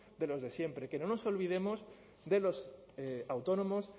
de los de siempre que no nos olvidemos de los autónomos